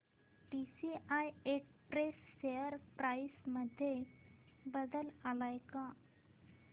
TCI Express share price मध्ये बदल आलाय का